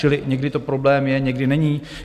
Čili někdy to problém je, někdy není?